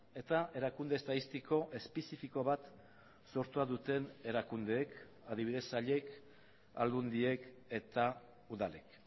eta erakunde estatistiko espezifiko bat sortua duten erakundeek adibidez sailek aldundiek eta udalek